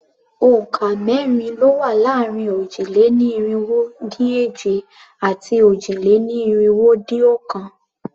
Òǹkà mẹ́rin ló wà láàrin òjì-lé-ní-irinwó-dín-èje àti òjì-lé-ní-irinwó-dín-ọ̀kan.